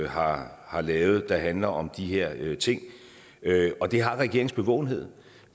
har har lavet det handler om de her ting og det har regeringens bevågenhed